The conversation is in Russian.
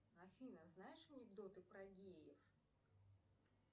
афина знаешь анекдоты про геев